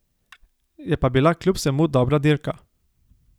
Je pa bila kljub vsemu dobra dirka.